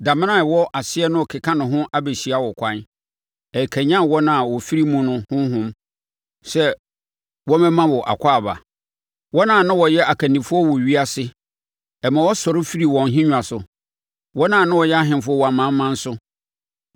Damena a ɛwɔ aseɛ no rekeka ne ho abɛhyia wo kwan; ɛkanyane wɔn a wɔafiri mu no honhom sɛ wɔmmɛma wo akwaaba, wɔn a na wɔyɛ akannifoɔ wɔ ewiase, ɛma wɔsɔre firi wɔn nhennwa so, wɔn a na wɔyɛ ahemfo wɔ amanaman so.